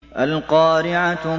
الْقَارِعَةُ